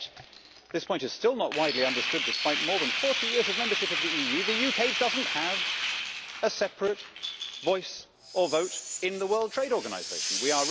Yet and this point is still not widely understood, despite more than 40 years of membership of the European Union the UK does not have a separate voice or vote in the World Trade Organization We